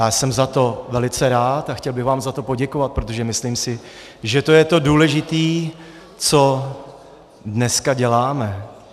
Já jsem za to velice rád a chtěl bych vám za to poděkovat, protože si myslím, že to je to důležité, co dneska děláme.